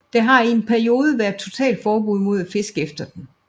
Der har i en periode været totalforbud mod at fiske efter den